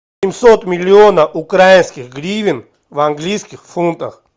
семьсот миллионов украинских гривен в английских фунтах